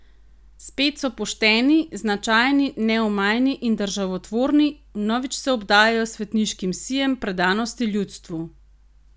Spet so pošteni, značajni, neomajni in državotvorni, vnovič se obdajajo s svetniškim sijem predanosti ljudstvu...